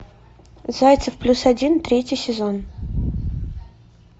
зайцев плюс один третий сезон